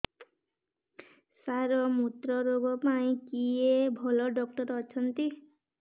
ସାର ମୁତ୍ରରୋଗ ପାଇଁ କିଏ ଭଲ ଡକ୍ଟର ଅଛନ୍ତି